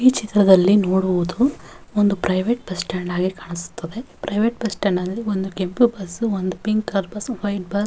ಈ ಚಿತ್ರದಲ್ಲಿ ನೋಡುವುದು ಒಂದು ಪ್ರೈವೇಟ್ ಬಸ್ಸ್ಟ್ಯಾಂಡ್ ತರ ಕಾಣಿಸುತ್ತದೆ ಅಲ್ಲಿ ಒಂದು ಕೆಂಪು ಬಸ್ ಪಿಂಕ್ ಬಸ್ ಒಂದು ವೈಟ್ ಬಸ್ --